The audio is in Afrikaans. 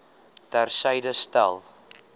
ter syde stel